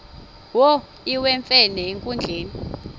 wo iwemfene enkundleni